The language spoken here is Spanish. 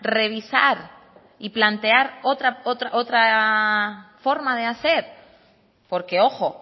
revisar y plantear otra forma de hacer porque ojo